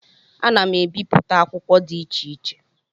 Ana m ebipụta akwụkwọ dị iche iche